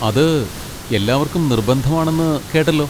അത് എല്ലാവർക്കും നിർബന്ധമാണെന്ന് കേട്ടല്ലോ.